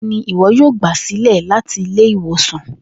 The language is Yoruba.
Nigbawo ni iwọ yoo gba silẹ lati ile-iwosan?